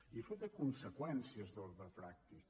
i això té conseqüències d’ordre pràctic